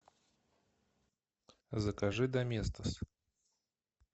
закажи доместос